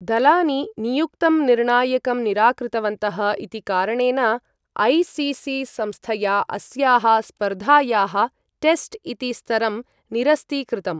दलानि नियुक्तं निर्णायकं निराकृतवन्तः इति कारणेन, ऐ.सी.सी.संस्थया अस्याः स्पर्धायाः टेस्ट् इति स्तरं निरस्तीकृतम्।